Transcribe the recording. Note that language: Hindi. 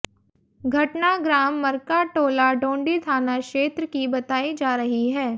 घटना ग्राम मरकाटोला डोंडी थाना क्षेत्र की बताई जा रही है